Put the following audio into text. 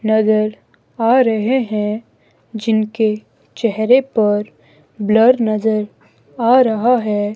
नजर आ रहे हैं जिनके चेहरे पर ब्लर नजर आ रहा है।